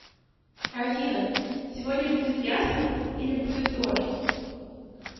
афина сегодня будет ясно или будет дождь